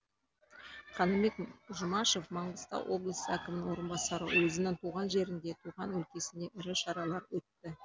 қаныбек жұмашев маңғыстау облысы әкімінің орынбасары өзінің туған жерінде туған өлкесінде ірі шаралар өтті